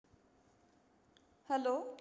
hello